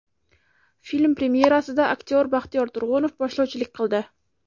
Film premyerasida aktyor Baxtiyor Turg‘unov boshlovchilik qildi.